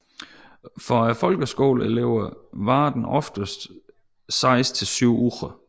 For folkeskoleelever varer den ofte seks til syv uger